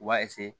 U b'a